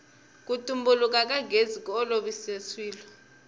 ku tumbuluka ka gezi ku olovise swilo